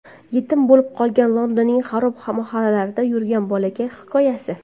Yetim bo‘lib qolgan, Londonning xarob mahallalarida yurgan bolakay hikoyasi.